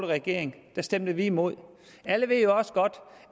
regering stemte vi imod alle ved jo også godt